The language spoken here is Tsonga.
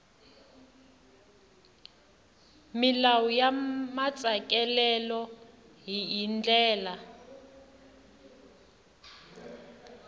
milawu ya matsalelo hi ndlela